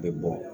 Bɛ bɔ